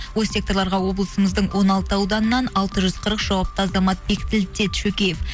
ол секторларға облысымыздың он алты ауданынан алты жүз қырық жауапты азамат бекітілді деді шөкеев